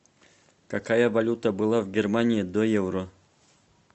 какая валюта была в германии до евро